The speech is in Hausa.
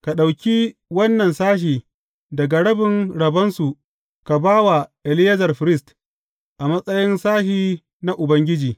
Ka ɗauki wannan sashe daga rabin rabonsu ka ba wa Eleyazar firist, a matsayin sashe na Ubangiji.